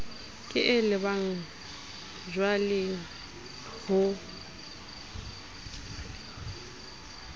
ke e lebang jwaleng ho